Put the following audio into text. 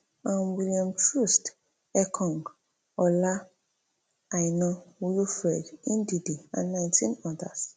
um william troostekong ola aina wilfred ndidi and nineteen odas